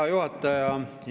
Hea juhataja!